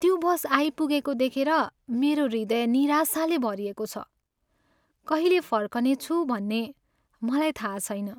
त्यो बस आइपुगेको देखेर मेरो हृदय निराशाले भरिएको छ। कहिले फर्कनेछु भन्ने मलाई थाहा छैन।